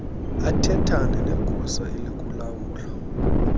athethane negosa elikulawulo